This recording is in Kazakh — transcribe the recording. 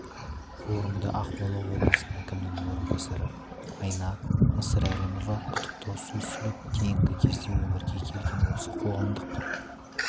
форумда ақмола облысы әкімінің орынбасары айна мысырәлімова құттықтау сөз сөйлеп кейінгі кезде өмірге келген осы қоғамдық